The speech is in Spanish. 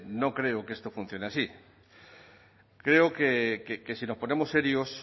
no creo que esto funcione así creo que si nos ponemos serios